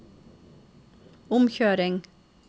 omkjøring